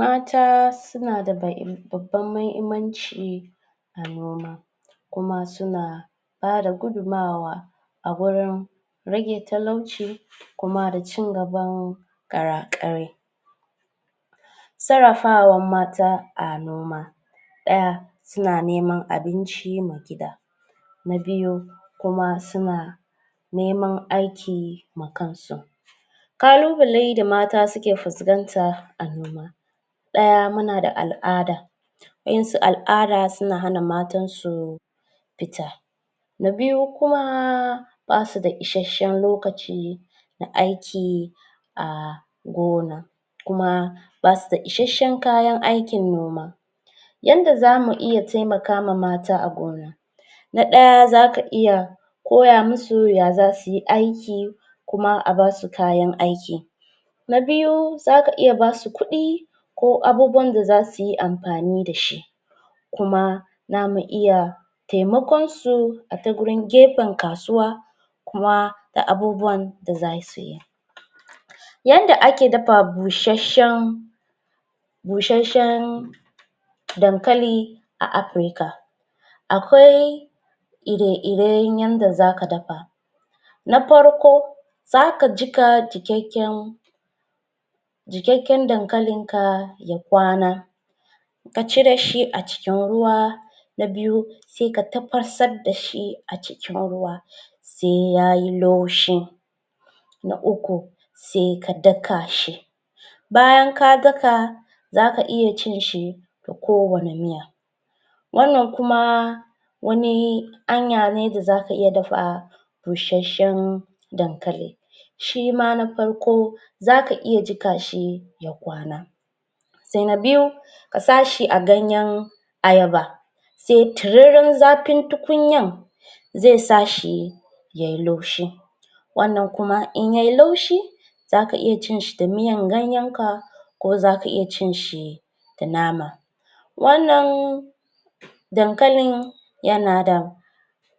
Mata suna da babban muhimmanci a noma kuma su na bada gudunmawa a gurin rage talauci kuma da cin gaban ƙara ƙarai sarrafawan mata a noma ɗaya suna neman abinci ma gida na biyu kuma suna neman aiki ma kan su ƙalubale da mata suke fuskanta a noma ɗaya muna da al'ada waɗansu al'ada suna hana matansu fita na biyu kuma ba su da isasshen lokaci na aiki a gona kuma kuma basu da isasshen kayan aikin noma yadda zamu iya taimakama mata a gona na ɗaya zaka iya koya musu ya zasu yi aiki kuma a basu kayan aiki na biyu zaka iya basu kuɗi ko abubuwan da za su yi amfani da shi kuma zamu iya taimakon su a ta gurin gefen kasuwa kuma da abubuwan da za suyi yadda ake dafa bushasshen bushasshen dankali a Afirka akwai ire iren yadda zaka dafa na farko za ka jiƙa jiƙaƙƙen jiƙaƙƙen dankalin ka ya kwana ka cire shi a cikin ruwa ka cire shi a cikin ruwa na biyu sai ka tafasar da shi a cikin ruwa sai yayi laushi na uku na uku sai ka daka shi bayan ka daka bayan ka daka za ka iya cin shi kowanne miya wannan kuma wani hanya ne za za ka iya dafa bushashshen dankali shima na farko za ka iya jiƙa shi ya kwana sai na biyu ka sa shi a ganyen ayaba sai tutrurin zafin tukunyar zai sa shi yayi laushi wannan kuma in yayi laushi za ka iya cin shi da miyan ganyen ka kuma za ka iya cin shi da nama wannan dankalin yana da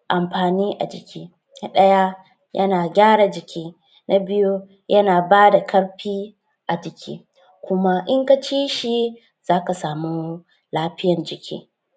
amfani a jiki na ɗaya yana gyara jiki na biyu yana bada ƙarfi a jiki kuma in ka ci shi za ka samu lafiyan jiki